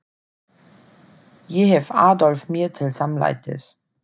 Ég hef Adolf mér til samlætis.